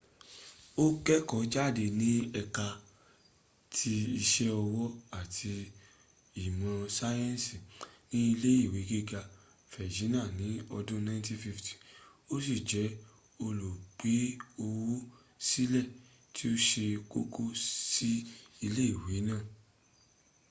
o keko jade ni eka ti ise owo ati imo sayensi ni ile iwe giga virginia ni odun 1950 o si je olugbeowosile ti o se koko si ile iwe naa